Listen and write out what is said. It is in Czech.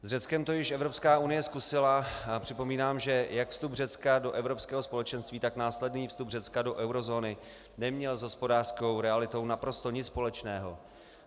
S Řeckem to již Evropská unie zkusila a připomínám, že jak vstup Řecka do Evropského společenství, tak následný vstup Řecka do eurozóny neměl s hospodářskou realitou naprosto nic společného.